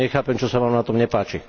Nechápem, čo sa vám na tom nepáči.